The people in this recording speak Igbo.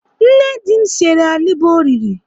Nne di m sere alịbọ o riri.